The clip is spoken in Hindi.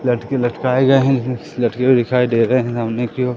लटके लटकाए गए हैं इसमें लटके हुए दिखाई दे रहे हैं सामने के ओर।